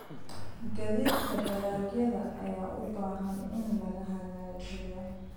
Gaadiidka dalagyada ayaa u baahan in la hagaajiyo.